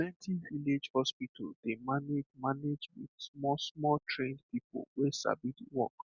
plenty village hospital dey manage manage with smallsmall trained people wey sabi the work